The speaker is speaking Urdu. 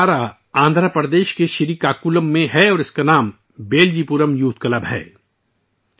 یہ ادارہ آندھرا پردیش کے سری کاکولم میں ہے اور اس کا نام 'بیلجی پورم یوتھ کلب' ہے